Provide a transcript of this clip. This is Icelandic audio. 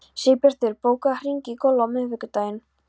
Sigbjartur, bókaðu hring í golf á miðvikudaginn.